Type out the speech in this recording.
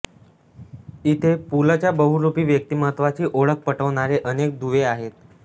इथे पुलं च्या बहुरूपी व्यक्तिमत्त्वाची ओळख पटवणारे अनेक दुवे आहेत